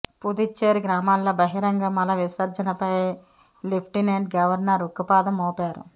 పుదుచ్చేరి గ్రామాల్లో బహిరంగ మల విసర్జనపై లెఫ్టినెంట్ గవర్నర్ ఉక్కుపాదం మోపారు